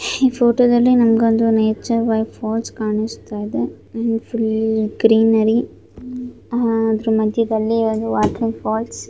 ಈ ಫೋಟೋ ದಲ್ಲಿ ನನಗೊಂದು ನೇಚರ್ ಬೈ ಫಾಲ್ಸ್ ಕಾಣಿಸುತ್ತಾ ಇದೆ ಫುಲ್ ಗ್ರೀನರಿ ಅಹ್ ಅದರ ಮಧ್ಯದಲ್ಲಿ ಒಂದು ವಾಟರ್ ಫಾಲ್ಸ್ .